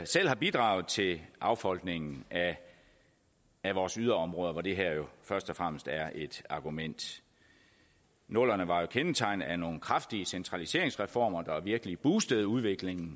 selv har bidraget til affolkningen af vores yderområder hvor det her jo først og fremmest er et argument nullerne var jo kendetegnet af nogle kraftige centraliseringsreformer der virkelig boostede udviklingen